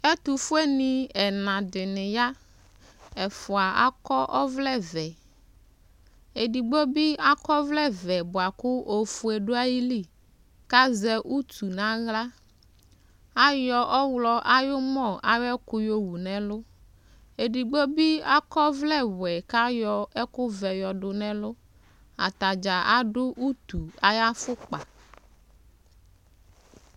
Ɛtʋfuenɩ ɛna dɩnɩ ya Ɛfʋa akɔ ɔvlɛvɛ Edigbo bɩ akɔ ɔvlɛvɛ bʋa kʋ ofue dʋ ayili kʋ azɛ utu nʋ aɣla Ayɔ ɔɣlɔ ayʋ ʋmɔ ayʋ ɛkʋ yɔwu nʋ ɛlʋ Edigbo bɩ akɔ ɔvlɛwɛ kʋ ayɔ ɛkʋvɛ yɔdʋ nʋ ɛlʋ Ata dza adʋ utu ayʋ afʋkpa